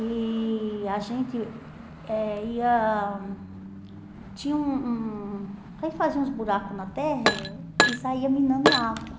E a gente eh ia tinha um um a gente fazia uns buracos na terra e saía minando água.